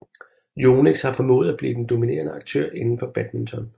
Yonex har formået at blive den dominerende aktør indenfor badminton